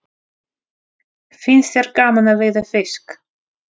Finnst þér gaman að veiða fisk?